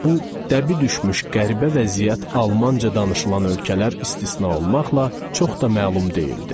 Bu, dəbi düşmüş qəribə vəziyyət Almanca danışılan ölkələr istisna olmaqla çox da məlum deyildi.